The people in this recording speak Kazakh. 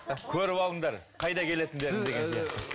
көріп алыңдар қайда келетіндеріңді деген сияқты